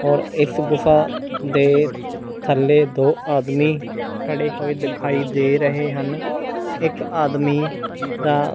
ਔਰ ਇਸ ਗੁਫਾ ਦੇ ਥੱਲੇ ਦੋ ਆਦਮੀ ਖੜੇ ਹੋਏ ਦਿਖਾਈ ਦੇ ਰਹੇ ਹਨ ਇੱਕ ਆਦਮੀ ਦਾ--